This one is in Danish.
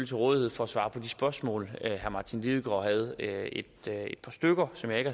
til rådighed for at svare på spørgsmål herre martin lidegaard havde et par stykker som jeg ikke